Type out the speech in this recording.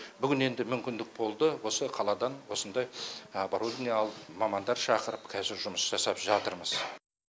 бүгін енді мүмкіндік болды осы қаладан осындай оборудование алып мамандар шақырып қазір жұмыс жасап жатырмыз